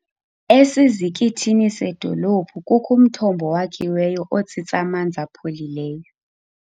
Esizikithini sedolophu kukho umthombo owakhiweyo otsitsa amanzi apholileyo.